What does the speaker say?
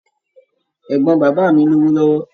Ẹ̀gbọ́n bàbá mi lówó lọ́wọ́.